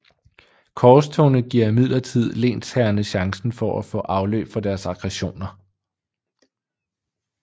Korstogene giver imidlertid lensherrerne chancen for at få afløb for deres aggressioner